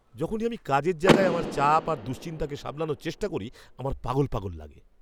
যখনই আমি কাজের জায়গায় আমার চাপ আর দুশ্চিন্তাকে সামলানোর চেষ্টা করি আমার পাগল পাগল লাগে!